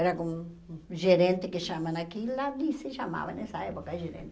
Era com um gerente que chamam aqui, lá de se chamava nessa época, gerente.